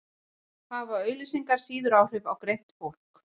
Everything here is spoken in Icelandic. hafa auglýsingar síður áhrif á greint fólk